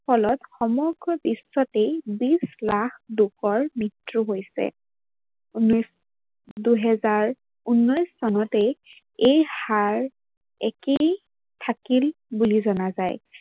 ফলত সমগ্ৰ বিশ্বতে বিচ লাখ লোকৰ মৃত্যু হৈছে। দুহেজাৰ ঊনৈশ চনতে এই হাৰ একেই থাকিল বুলি জনা যায়।